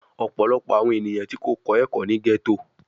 Ọpọlọpọ awọn eniyan ti ko kọ ẹkọ ni ghetto